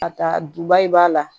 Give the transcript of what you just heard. Ka taa duba in b'a la